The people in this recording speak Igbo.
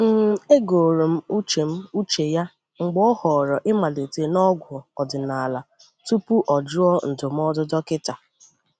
um E gòrò m uche m uche ya mgbe ọ họọrọ ịmalite na ọgwụ ọdịnala tupu o jụọ ndụmọdụ dọkịta.